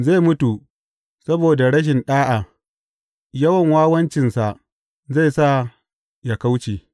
Zai mutu saboda rashin ɗa’a yawan wawancinsa zai sa yă kauce.